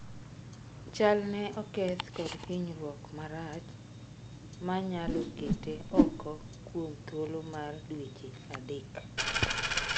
Chalne oketh kod hinyruok marach manyalo kete ooko kuom thuolo mar dweche adek